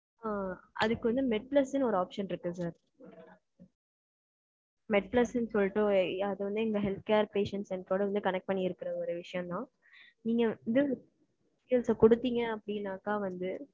அ, அதுக்கு வந்து, med plus ன்னு ஒரு option இருக்கு sir. Med plus ன்னு சொல்லிட்டு, அது வந்து, இந்த health care patients, என் கூட வந்து, connect பண்ணியிருக்கிற, ஒரு விஷயம்தான். நீங்க, வந்து அ குடுத்தீங்க, அப்படின்னாக்கா வந்து,